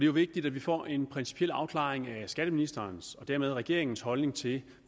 jo vigtigt at vi får en principiel afklaring af skatteministerens og dermed regeringens holdning til